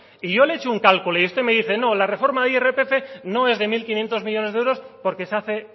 y yo le he hecho un cálculo y usted me dice no la reforma de irpf no es de mil quinientos millónes de euros porque se hace